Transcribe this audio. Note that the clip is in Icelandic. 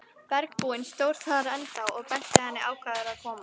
Bergbúinn stóð þar ennþá og benti henni ákafur að koma.